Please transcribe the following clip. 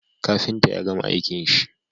Kafinta yagama aikin shi